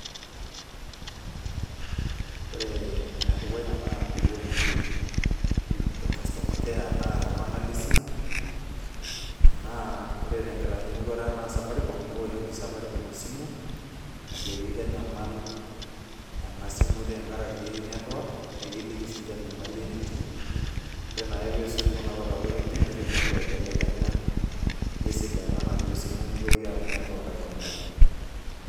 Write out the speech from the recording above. ore ene dukuya naa pii wuoshoki customer care naa iltung'anak lesimu , ore tekitaanyukoto aa safaricom esimu ajoki kenyamal enasimu tengaraki[cs network, nikiliki sininche enyamali enetii ore naake pee isuj kuna wutarot enye nitumoki aibelekenya nesidanu enaduo simu nitoki atum network ai tobiraki.